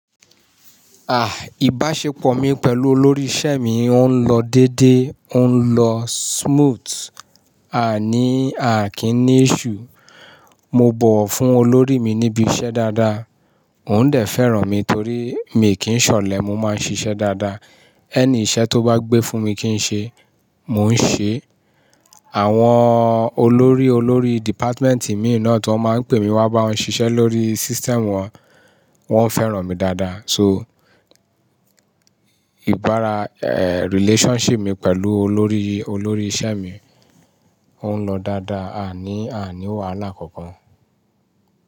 Ah, ìbáṣepọ̀ mi pẹ̀lú olórí iṣẹ́ mi ń lọ dédé, ń lọ smooth. A ní, a kì í ní iṣu. Mo bọ̀ wọ́ fún olórí mi níbi iṣẹ́ dáadáa, òun dè fẹ́ràn mi torí mi kì ń ṣọ̀lẹ, mo máa ń ṣiṣẹ́ dáadáa. Ẹni iṣẹ́ tó bá gbé fún mi kí n ṣe, mò ń ṣe. Àwọn olórí olórí dìpátmẹ́tì mi náà tó máa ń pè mi wá bá wọn ṣiṣẹ́ lórí system wọn, wọ́n ń fẹ́ràn mi dáadáa. So, ìbára, eh, relationship mi pẹ̀lú olórí olórí iṣẹ́ mi ń lọ dáadáa, a ní, a ní wàhálà kankan.